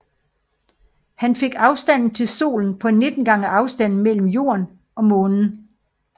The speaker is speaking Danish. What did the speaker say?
Han fik afstanden til Solen på 19 gange afstanden mellem Jorden og Månen